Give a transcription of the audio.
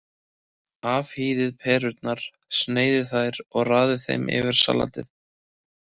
Afhýðið perurnar, sneiðið þær og raðið yfir salatið.